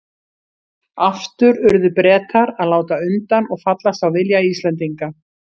Aftur urðu Bretar að láta undan og fallast á vilja Íslendinga.